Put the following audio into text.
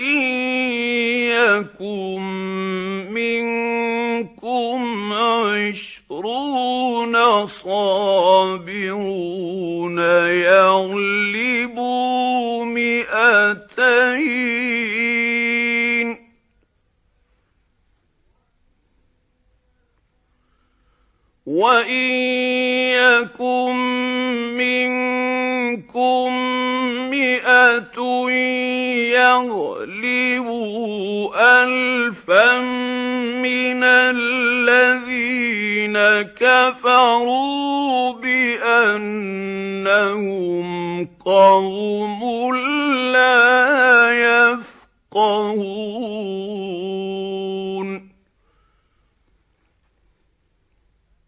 إِن يَكُن مِّنكُمْ عِشْرُونَ صَابِرُونَ يَغْلِبُوا مِائَتَيْنِ ۚ وَإِن يَكُن مِّنكُم مِّائَةٌ يَغْلِبُوا أَلْفًا مِّنَ الَّذِينَ كَفَرُوا بِأَنَّهُمْ قَوْمٌ لَّا يَفْقَهُونَ